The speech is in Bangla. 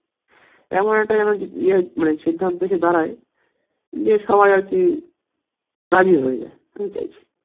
এমন একটা যেন ইয়ে মানে সিদ্ধান্ত এসে দাঁড়ায় যে সবাই আর কি রাজি হয়ে যাই এটাই চাইছি